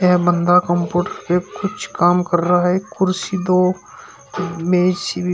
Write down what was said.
यह बंदा कंप्यूटर पर कुछ काम कर रहा है कुर्सी दो मेज सी भी।